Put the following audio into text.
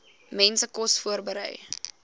mense kos voorberei